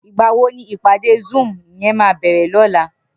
Nigbá wó ni ipàdé zúùm yèn má bèrè lòlá?